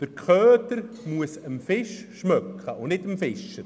«Der Köder muss dem Fisch schmecken, nicht dem Fischer.